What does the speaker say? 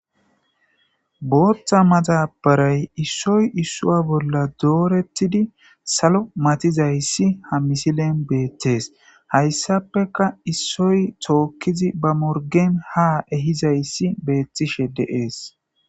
booththa madabaray issoy isswa bolla doorettidi salo matizayssi ha misilen beettees hayssapeka issoy tookkizi ba morgen ha ehizayssi beettishe de'ees